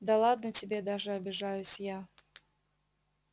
да ладно тебе даже обижаюсь я